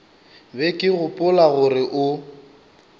be ke gopola gore o